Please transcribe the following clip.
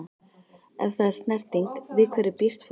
Ef það er snerting- við hverju býst fólk?